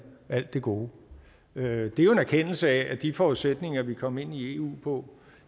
alt det gode det er jo en erkendelse af at de forudsætninger vi kom ind i eu på